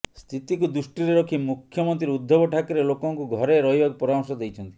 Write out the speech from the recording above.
ସ୍ଥିତିକୁ ଦୃଷ୍ଟିରେ ରଖି ମୁଖ୍ୟମନ୍ତ୍ରୀ ଉଦ୍ଧବ ଠାକରେ ଲୋକଙ୍କୁ ଘରେ ରହିବାକୁ ପରାମର୍ଶ ଦେଇଛନ୍ତି